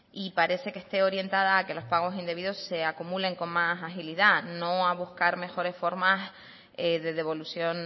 y parece que esté orientada a que los pagos indebidos se acumulen con más agilidad no a buscar mejores formas de devolución